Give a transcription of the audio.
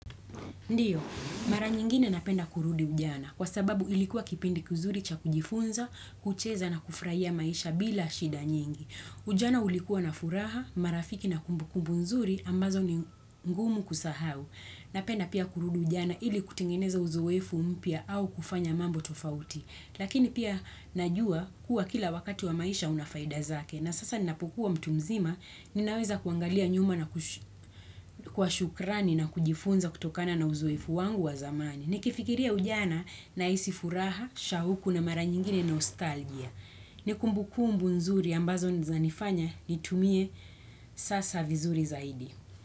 Ndiyo, mara nyingine napenda kurudi ujana, kwa sababu ilikuwa kipindi kizuri cha kujifunza, kucheza na kufurahia maisha bila shida nyingi. Ujana ulikuwa na furaha, marafiki na kumbukumbu nzuri, ambazo ni ngumu kusahau. Napenda pia kurudi ujana ili kutengeneza uzoefu mpya au kufanya mambo tofauti. Lakini pia najua kuwa kila wakati wa maisha una faida zake na sasa ninapokuwa mtu mzima ninaweza kuangalia nyuma na kwa shukrani na kujifunza kutokana na uzoefu wangu wa zamani. Nikifikiria ujana nahisi furaha, shauku na mara nyingine nostalgia. Ni kumbukumbu nzuri ambazo zinanifanya nitumie sasa vizuri zaidi.